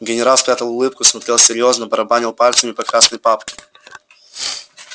генерал спрятал улыбку смотрел серьёзно барабанил пальцами по красной папке